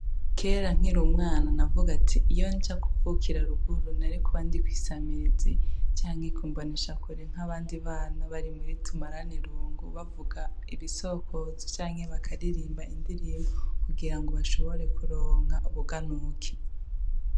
Kera nkiri umwana navuga ati iyo nja kuvukira ruguru nari kuba ndi kw'isamirizi canke ku mboneshakure nk'abandi bana bari muri tumarane irungu, bavuga ibisokozo canke bakaririmba indirimbo kugira ngo bashobore kuronka ubuganuke.